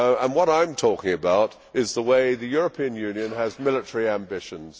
What I am talking about is the way the European Union has military ambitions.